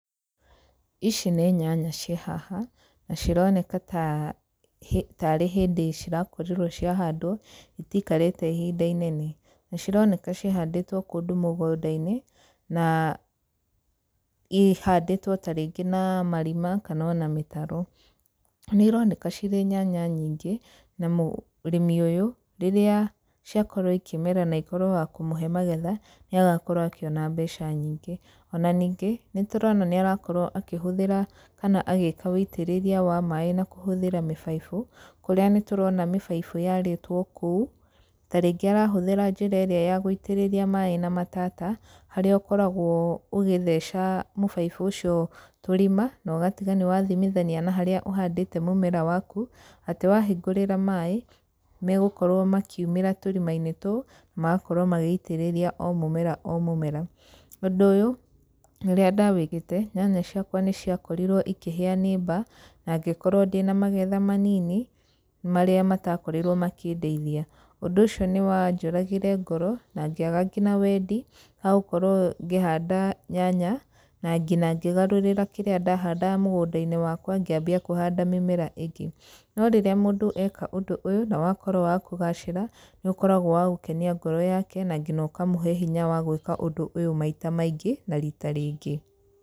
Ici nĩ nyanya ciĩ haha, na cironeka ta tarĩ hĩndĩ cirakorirwo ciahandwo itikarĩte ihinda inene. Na cironeka cihandĩtwo kũndũ mũgũnda-inĩ na, ihandĩtwo tarĩngĩ na marima kana ona mĩtaro. Nĩ ironeka cirĩ nyanya nyingĩ, na mũrĩmi ũyũ, rĩrĩa ciakorwo ikĩmera na ikorwo wa kũmũhe magetha, nĩ agakorwo akĩona mbeca nyingĩ. Ona ningĩ, nĩ tũrona nĩ arakorwo akĩhũthĩra kana agĩka ũitĩrĩria wa maĩ na kũhũthĩra mĩbaibũ, kũrĩa nĩtũrona mĩbaibũ yarĩtwo kũu. Tarĩngĩ arahũthĩra njĩra ĩrĩa ya gũitĩrĩria maĩ na matata, harĩa ũkoragwo ũgĩtheca mũbaibũ ũcio tũrima, na ũgatiga nĩwathimithania na harĩa ũhandĩte mũmera wakũ atĩ wahingũrĩra maĩ megũkorwo makiumĩra tũrima-inĩ tũu magakorwo magĩitĩrĩria o mũmera o mũmera. Ũndũ ũyũ, rĩrĩa ndawĩkĩte nyanya ciakwa nĩciakorirwo ikĩhĩa nĩ mbaa na ngĩkorwo ndĩna magetha manini, marĩa matakorirwo makĩndeithia. Ũndũ ũcio nĩ wanjũragire ngoro, na ngĩaga nginya wendi wa gũkorwo ngĩhanda nyanya, na nginya ngĩgarũrĩra kĩrĩa ndahandaga mũgũnda-inĩ wakwa ngĩambia kũhanda mĩmera ĩngĩ. No rĩrĩa mũndũ eka ũndũ ũyũ na wakorwo wa kũgacĩra, nĩ ũkoragwo wa gũkenia ngoro, yake na nginya ũkamũhe hinya wa gwĩka ũndũ ũyũ maita maingĩ na rita rĩngĩ.